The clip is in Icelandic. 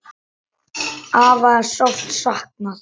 Afa er sárt saknað.